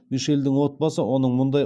мишельдің отбасы оның мұндай